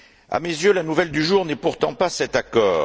À mes yeux, la nouvelle du jour n'est pourtant pas cet accord.